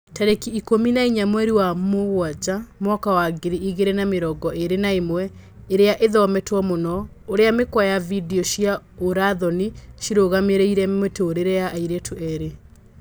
Tarĩki ikũmi na inya mweri wa Mũgaa mwaka wa ngiri igĩri na mĩrongo ĩri na ĩmwe, ĩria ĩthometwo mũno: ũrĩa mĩkwa ya video cia ũra thoni ciarũgamirie mũtũrĩre wa airĩtu erĩ